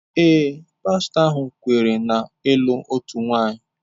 Ee, pastọ ahụ kweere na ịlụ otu nwanyị.